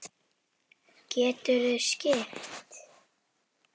Geturðu skipt?